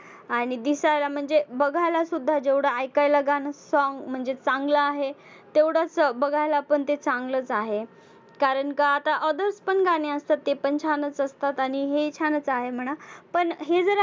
आणि दिसायला म्हणजे बघायला सुद्धा जेवढं ऐकायला गाणं song म्हणजे चांगलं आहे तेवढंच बघायला पण ते चांगलंच आहे. कारण का आता others पण गाणी असतात ती पण छानच असतात. आणि हे छानच आहे म्हणा, पण हे जर